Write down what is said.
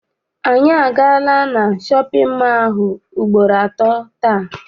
Anyị agaala na shọpịn mọọ ahụ ugboro atọ taa.